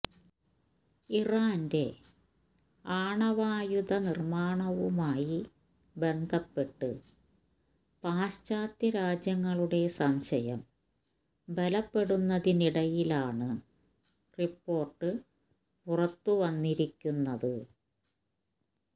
ഇറാന്റെ ആണവായുധ നിര്മാണവുമായി ബന്ധപ്പെട്ട് പാശ്ചാത്യ രാജ്യങ്ങളുടെ സംശയം ബലപ്പെടുന്നതിനിടയിലാണ് റിപ്പോര്ട്ട് പുറത്തുവന്നിരിക്കുന്നത്